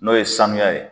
N'o ye sanuya ye